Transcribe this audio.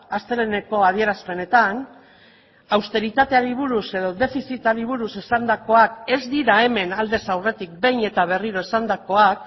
asteleheneko adierazpenetan austeritateari buruz edo defizitari buruz esandakoak ez dira hemen aldez aurretik behin eta berriro esandakoak